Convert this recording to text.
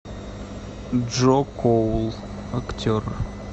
джо коул актер